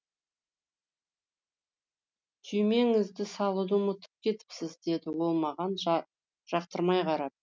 түймеңізді салуды ұмытып кетіпсіз деді ол маған жақтырмай қарап